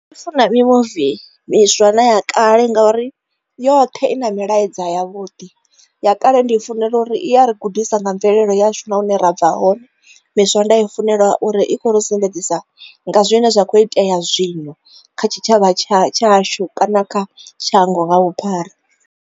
Ndi funa mimuvi miswa na ya kale ngauri yoṱhe i na milaedza ya vhuḓi ya kale ndi i funela uri iya ri gudisa nga mvelele yashu na hune ra bva hone miswa ndi i funela uri i kho ro sumbedzisa nga zwine zwa kho itea zwino kha tshitshavha tshashu kana kha shango nga vhuphara.